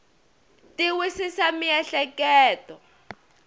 ti wisisa miehleketo